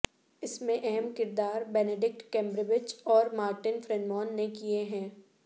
اس میں اہم کردار بینیڈکٹ کمبربچ اور مارٹن فرینمان نے کئے ہیں